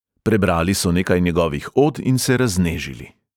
Prebrali so nekaj njegovih od in se raznežili.